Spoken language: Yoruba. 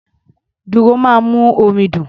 Dùrù máa ń mú orin dùn.